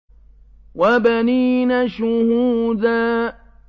وَبَنِينَ شُهُودًا